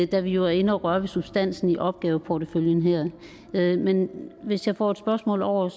da vi jo er inde og røre ved substansen i opgaveporteføljen men men hvis jeg får et spørgsmål over